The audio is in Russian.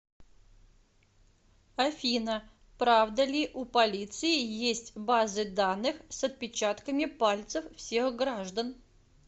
афина правда ли у полиции есть базы данных с отпечатками пальцев всех граждан